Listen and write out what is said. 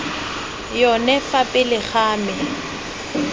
yone fa pele ga me